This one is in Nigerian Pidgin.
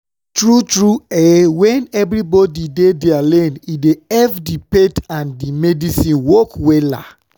tru tru eh wen everybodi dey dia lane e dey epp di faith and and medicine work wella